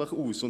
schnell ging.